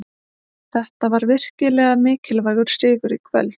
Þetta var virkilega mikilvægur sigur í kvöld.